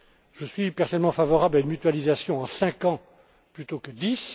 Je suis personnellement favorable à une mutualisation à cinq ans plutôt que dix.